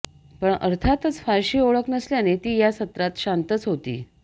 पण अर्थातच फारशी ओळख नसल्याने ती या सत्रात शांतच होती